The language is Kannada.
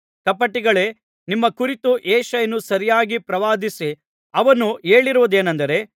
ಕಪಟಿಗಳೇ ನಿಮ್ಮ ಕುರಿತು ಯೆಶಾಯನು ಸರಿಯಾಗಿ ಪ್ರವಾದಿಸಿ ಅವನು ಹೇಳಿರುವುದೇನೆಂದರೆ